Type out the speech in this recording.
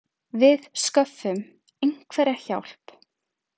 Við sköffum einhverja hjálp.